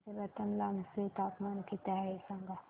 आज रतलाम चे तापमान किती आहे सांगा